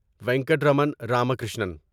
Venkataraman Ramakrishnan